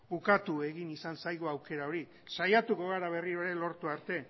ukatu egin izan zaigu aukera hori saiatuko gara berriro ere lortu arte